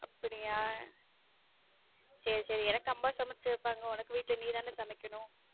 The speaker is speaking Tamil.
அப்படியா எனக்கு அம்மா சமைச்சு வைப்பாங்க உனக்கு வீட்ல நீதான சமைக்கணும்.